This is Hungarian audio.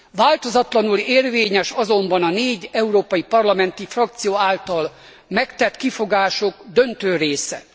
Változatlanul érvényes azonban a négy európai parlamenti frakció által megtett kifogások döntő része.